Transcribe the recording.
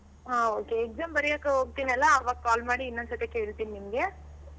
ಹಾ Okay exam ಬರೆಯೋಕೆ ಹೋಗ್ತೀನಲ್ಲ ಆವಾಗ call ಇನ್ನೊಂದ್ಸರ್ತಿ ಕೇಳ್ತೀನಿ ನಿಮ್ಗೆ.